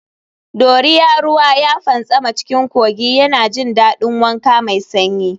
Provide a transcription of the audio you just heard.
Doria ruwa ya fantsama cikin kogi yana jin daɗin wanka mai sanyi.